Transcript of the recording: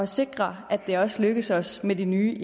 sikre at det også lykkes os med de nye